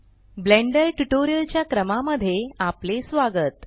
blender tutorial च्या क्रमा मध्ये आपले स्वागत